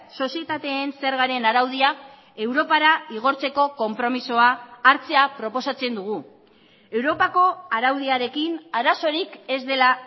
sozietateen zergaren araudia europara igortzeko konpromisoa hartzea proposatzen dugu europako araudiarekin arazorik ez dela